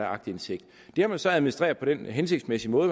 aktindsigt det har man så administreret på den hensigtsmæssige måde